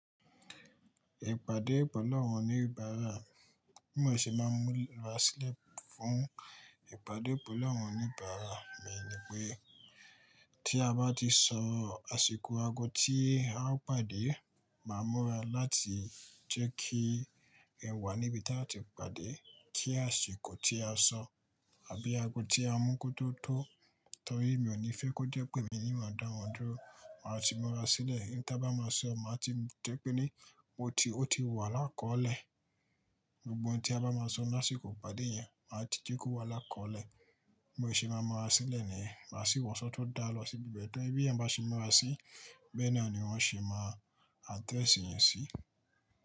Ìpàdé pẹlu awọn oní bara, mi o sì máa ń múra sílẹ̀ fún ìpàdé pẹlu awọn oní bara. Mi ní pé tí a bá ti sọ àsìkò ago tí a ó pàdé, màá múra láti jẹ́ kí ẹ wà níbi tí a ti pàdé kí àsìkò tí a sọ àbí ago tí a mú kó tó tó. Nítorí mi ò ní fẹ́ kó jẹ́ pé emi nii máa dá wọ́n dúró, màá ti múra sílẹ̀. N ta bá máa sọ, màá ti jẹ́ pé ní ó ti, ó ti wà lákọ̀lẹ̀. Gbogbo òun ta bá máa sọ ní àsìkò ìpàdé yẹn, màá ti jẹ́ kó wà lákọ̀lẹ̀. Bi mo sì máa múra sílẹ̀ ni, màá sì wọ̀sọ́ tó dá lọ sí ibi bẹ́ẹ̀ tó. Tori béèyàn bá ṣe mura si bẹẹ naa ni wọn ṣe ma address èèyàn si.